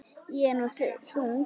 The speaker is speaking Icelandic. Ég er nú þung.